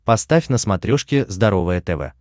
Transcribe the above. поставь на смотрешке здоровое тв